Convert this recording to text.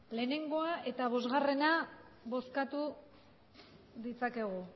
batgoa eta bostgarrena bozkatu ditzakegu